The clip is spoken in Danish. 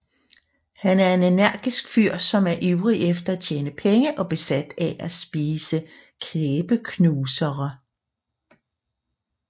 Han er en energisk fyr som er ivrig efter at tjene penge og besat af at spise kæbeknusere